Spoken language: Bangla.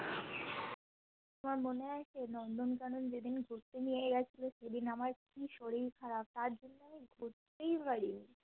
তোমার মনে আছে নন্দনকানন যেদিন ঘুরতে নিয়ে গিয়েছিলে সেদিন আমার কি শরীর খারাপ তার জন্য দেখতেই পারিনি